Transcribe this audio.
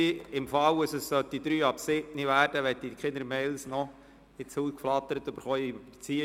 Für den Fall, dass es 19.03 Uhr werden sollte, bis wir fertig sind, möchte ich keine E-Mails erhalten, weil ich angeblich überzogen habe.